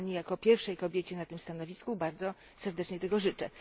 I Pani, jako pierwszej kobiecie na tym stanowisku, bardzo serdecznie tego życzę.